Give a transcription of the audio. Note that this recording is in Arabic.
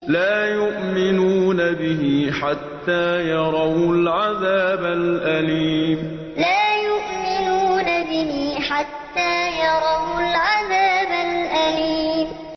لَا يُؤْمِنُونَ بِهِ حَتَّىٰ يَرَوُا الْعَذَابَ الْأَلِيمَ لَا يُؤْمِنُونَ بِهِ حَتَّىٰ يَرَوُا الْعَذَابَ الْأَلِيمَ